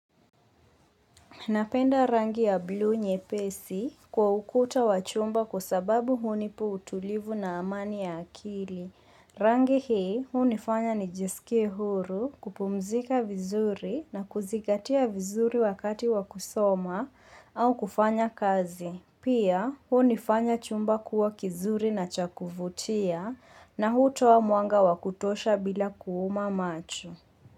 Napenda rangi ya buluu nyepesi kwa ukuta wa chumba kwa sababu hunipa utulivu na amani ya akili. Rangi hii hunifanya nijisikie huru kupumzika vizuri na kuzingatia vizuri wakati wa kusoma au kufanya kazi. Pia hunifanya chumba kuwa kizuri na cha kuvutia na hutowa mwanga wakutosha bila kuuma macho.